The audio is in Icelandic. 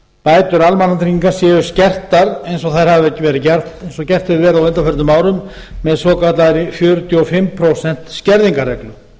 bætur almannatrygginga séu skertar eins og gert hefur verið á undanförnum árum með svokallaðri fjörutíu og fimm prósent skerðingarreglu